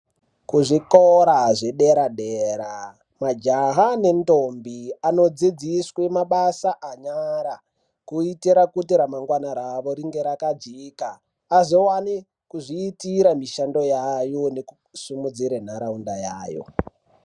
Kuzvikora zvedera dera majaha nendombi anodzidziswe mabasa anyara kuitira kuti ramangwana ravo ringe rakajeka azowane kuzviitira mishando yayo nekusimudzira nharaunda yayo.